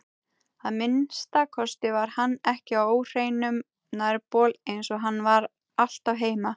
Að minnsta kosti var hann ekki á óhreinum nærbol eins og hann var alltaf heima.